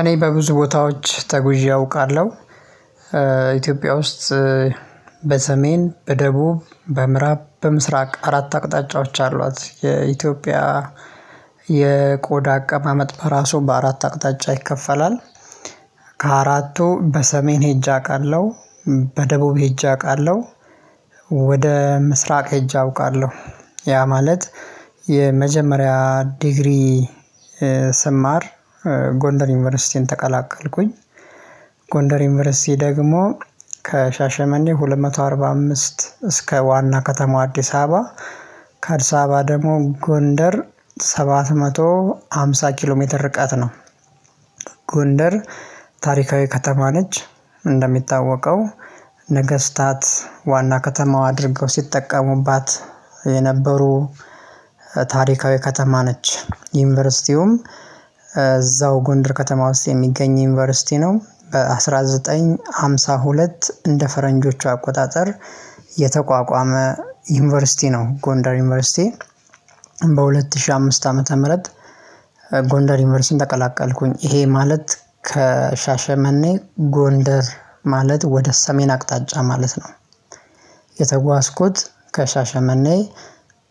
እኔ በብዙ ቦታዎች ተጉዤ አውቃለሁ ኢትዮጵያ ውስጥ በሰሜን በደቡብ በምዕራብ በምስራቅ አራት አቅጣጫዎች አሏት የኢትዮጵያ የቆዳ አቀማመጥ በራሱ በአራት አቅጣጫ ይከፈላል። ከአራቱ በሰሜን ሄጄ አቃለሁ። በደቡብ ሄጄ አውቃለሁ። ወደ ምስራቅ ሄጄ አውቃለሁ ያ ማለት የመጀመሪያ ዲግሪ። ስማር ጎንደር ዩኒቨርሲቲን ተቀላቀልኩኝ። ጎንደር ዩኒቨርሲቲ ደግሞ ከሻሸመኔ ሁለት መቶ አርባ አምስት እስከ ዋና ከተማ አዲስ አበባ ከአድስ አበባ ደግሞ ጎንደር ሰባት መቶ ሃምሳ ኪሎ ሜትር ርቀት ነው። ጎንደር ታሪካዊ ከተማ ነች። እንደሚታወቀው ነገስታት ዋና ከተማዋ አድርገው ሲጠቀሙባት የነበሩ ታሪካዊ ከተማ ነች። ዩኒቨርሲቲውም እዛው ጎንደር ከተማ ውስጥ የሚገኝ ዩኒቨርሲቲ ነው። በአስራ ዘጠኝ ሃምሳ ሁለት እንደ ፈረንጆቹ አቆጣጠር የተቋቋመ ዩኒቨርሲቲ ነው ጎንደር ዩኒቨርሲቲ። በሁለት ሺህ አምስት ዓመተ ምህረት። ጎንደር ዩኒቨርሲቲን ተቀላቀልኩኝ ይሄ ማለት ከሻሸመኔ ጎንደር ማለት ወደ ሰሜን አቅጣጫ ማለት ነው። የተጓዝኩት ከሻሸመኔ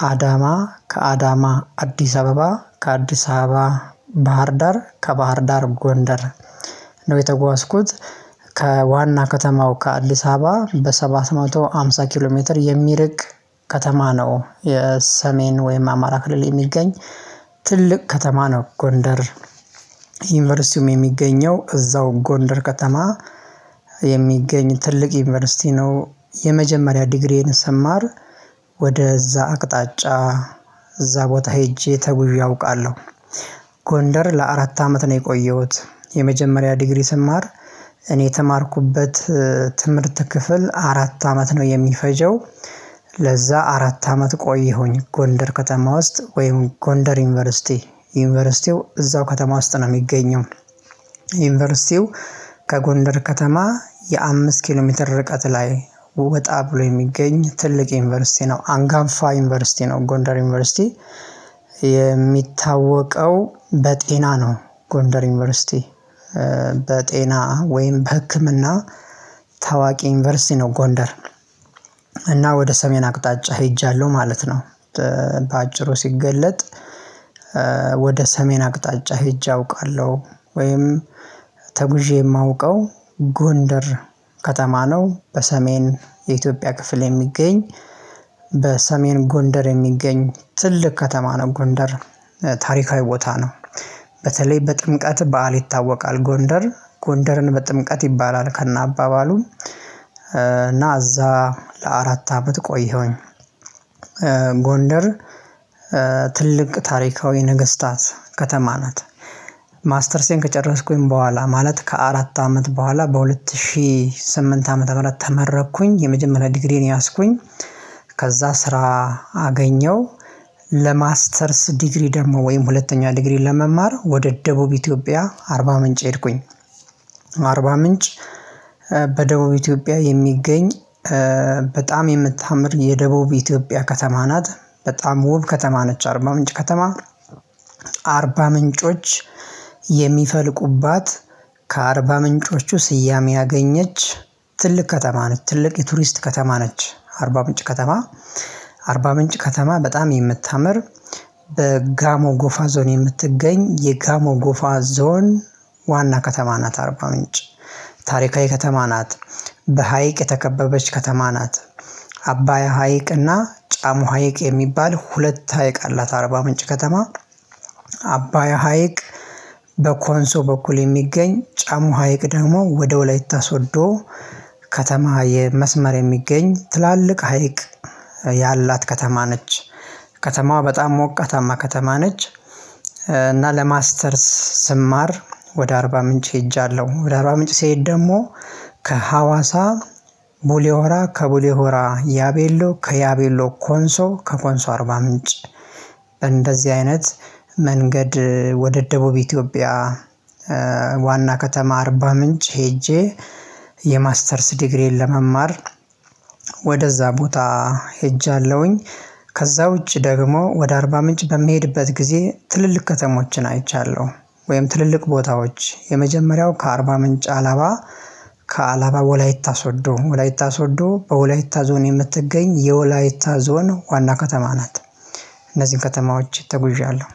አዳማ ከአዳማ አዲስ አበባ ከአዲስ አበባ ባህር ዳር ከባህር ዳር ጎንደር ነው የተጓዝኩት። ከዋና ከተማው ከአዲስ አበባ በሰባት መቶ ሃምሳ ኪሎ ሜትር የሚርቅ ከተማ ነው። የሰሜን ወይም አማራ ክልል የሚገኝ ትልቅ ከተማ ነው። ጎንደር ዩኒቨርሲቲውም የሚገኘው እዛው ጎንደር ከተማ የሚገኝ ትልቅ ዩኒቨርሲቲ ነው። የመጀመሪያ ዲግሪዬን ስማር ወደ እዛ አቅጣጫ እዛ ቦታ ሄጄ ተጉዤ አውቃለሁ። ጎንደር ለአራት አመት ነው የቆየሁት የመጀመሪያ ዲግሪ ስማር እኔ የተማርኩበት ትምህርት ክፍል አራት አመት ነው የሚፈጀው። ለዛ አራት አመት ቆየሁኝ ጎንደር ከተማ ውስጥ ወይም ጎንደር ዩኒቨርሲቲ ዩኒቨርሲቲው እዛው ከተማ ውስጥ ነው የሚገኘው። ዩኒቨርሲቲው ከጎንደር ከተማ የአምስት ኪሎ ሜትር ርቀት ላይ ወጣ ብሎ የሚገኝ ትልቅ ዩኒቨርሲቲ ነው። አንጋፋ ዩኒቨርሲቲ ነው ጎንደር ዩኒቨርሲቲ የሚታወቀው በጤና ነው። ጎንደር ዩኒቨርሲቲ በጤና ወይም በህክምና ታዋቂ ዩኒቨርሲቲ ነው። ጎንደር እና ወደ ሰሜን አቅጣጫ ሄጃለሁ ማለት ነው። በአጭሩ ሲገለጥ ወደ ሰሜን አቅጣጫ ሄጄ አውቃለሁ። ወይም ተጉዤ የማውቀው ጎንደር ከተማ ነው። በሰሜን የኢትዮጵያ ክፍል የሚገኝ በሰሜን ጎንደር የሚገኝ ትልቅ ከተማ ነው። ጎንደር ታሪካዊ ቦታ ነው። በተለይ በጥምቀት በዓል ይታወቃል ጎንደር ጎንደርን በጥምቀት ይባላል ከነ አባባሉም እና እዛ ለአራት አመት ቆየሁኝ። ጎንደር ትልቅ ታሪካዊ ነገስታት ከተማ ናት። ማስተርሴን ከጨረስኩኝ በኋላ ማለት ከአራት አመት በኋላ በሁለት ሺህ ስምንት አመት ምህረት ተመረኩኝ የመጀመሪያ ዲግሪየን ያስኩኝ ከዛ ስራ አገኘው ለማስተርስ ዲግሪ ደግሞ ወይም ሁለተኛ ዲግሪ ለመማር ወደ ደቡብ ኢትዮጵያ አርባ ምንጭ ሄድኩኝ። አርባ ምንጭ በደቡብ ኢትዮጵያ የሚገኝ በጣም የምታምር የደቡብ ኢትዮጵያ ከተማ ናት። በጣም ውብ ከተማ ነች አርባ ምንጭ ከተማ አርባ ምንጮች የሚፈልቁባት ከአርባ ምንጮቹ ስያሜ ያገኘች ትልቅ ከተማ ነች። ትልቅ የቱሪስት ከተማ ነች። አርባ ምንጭ ከተማ አርባ ምንጭ ከተማ በጣም የምታምር በጋሞ ጎፋ ዞን የምትገኝ የጋሞ ጎፋ ዞን ዋና ከተማ ናት። አርባ ምንጭ ታሪካዊ ከተማ ናት። በሃይቅ የተከበበች ከተማ ናት። አባያ ሀይቅና ጫሞ ሀይቅ የሚባል ሁለት ሀይቅ አላት አርባ ምንጭ ከተማ። አባያ ሀይቅ በኮንሶ በኩል የሚገኝ ጫሞ ሀይቅ ደግሞ ወደ ወላይታ ሶዶ ከተማ የመስመር የሚገኝ ትላልቅ ሀይቅ ያላት ከተማ ነች። ከተማዋ በጣም ሞቃታማ ከተማ ነች። እና ለማስተርስ ስማር ወደ አርባ ምንጭ ሄጃለሁ ወደ አርባ ምንጭ ስሄድ ደግሞ ከሀዋሳ ቡሌሆራ ከቡሌሆራ ያቤሎ ከያቤሎ ኮንሶ ከኮንሶ አርባ ምንጭ እንደዚህ አይነት መንገድ ወደ ደቡብ ኢትዮጵያ ዋና ከተማ አርባ ምንጭ ሄጄ የማስተርስ ዲግሪዬን ለመማር ወደ እዛ ቦታ ሄጃለሁኝ። ከዛ ውጪ ደግሞ ወደ አርባ ምንጭ በሚሄድበት ጊዜ ትልልቅ ከተሞችን አይቻለሁ። ወይም ትልልቅ ቦታዎች የመጀመሪያው ከአርባ ምንጭ አላባ ከአላባ ወላይታ ሶዶ ወላይታ ሶዶ በወላይታ ዞን የምትገኝ የወላይታ ዞን ዋና ከተማ ናት እነዚህን ከተማዎች ተጉዣለሁ